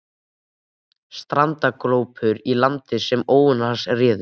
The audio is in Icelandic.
Strandaglópur í landi sem óvinir hans réðu.